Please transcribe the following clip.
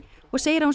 og segir að hún